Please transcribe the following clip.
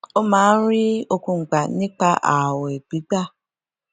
ó máa ń rí okun gbà nípa ààwè gbígbà